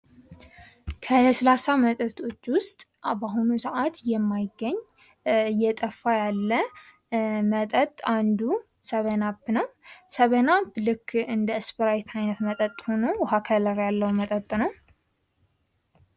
ከለስላሳ መጠጦች ውስጥ በአሁኑ ሰዓት የማይገኝ እጠፋ ያለ መጠጥ አንዱ ሰብን አፕ ነው። ሰብን አፕ ልክ እንደ እስፕራይት አይነት መጠጡ ሆኖ ውሃ ከለር ያለው መጠጥ ነው።